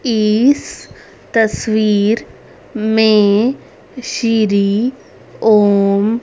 इस तस्वीर में सिरी ओम--